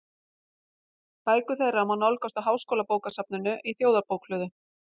Bækur þeirra má nálgast á Háskólabókasafninu í Þjóðarbókhlöðu.